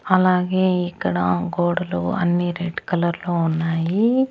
అలాగే ఇక్కడ గోడలు అన్ని రెడ్ కలర్లో ఉన్నాయి.